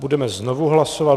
Budeme znovu hlasovat.